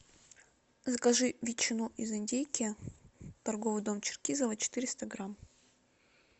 закажи ветчину из индейки торговый дом черкизово четыреста грамм